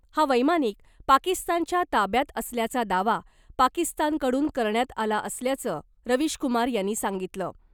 हा वैमानिक पाकिस्तानच्या ताब्यात असल्याचा दावा , पाकिस्तानकडून करण्यात आला असल्याचं , रवीशकुमार यांनी सांगितलं .